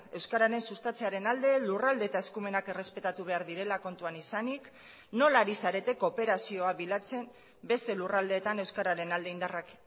euskararen sustatzearen alde lurralde eta eskumenak errespetatu behar direla kontuan izanik nola ari zarete kooperazioa bilatzen beste lurraldeetan euskararen alde indarrak